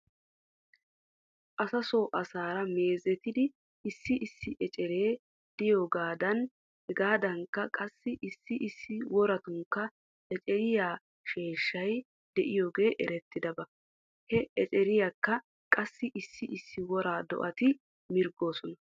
Asaso asaara meezetidi issi issi eceree diyoogaadan hegaadankka qassi issi issi woratunkka eceriyaa sheeshshay diyoogee eretiyaaba. He echeriyaaka qassi issi issi wora do'ati mirgoosona.